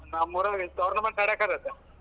ನಮ್ಮೂರಲ್ಲಿ tournament ಆಡಕ್ ಹತ್ತೇತೆ.